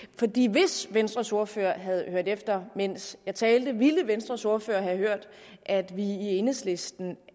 hvis venstres ordfører havde hørt efter mens jeg talte ville venstres ordfører have hørt at vi i enhedslisten